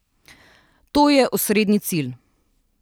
To je osrednji cilj.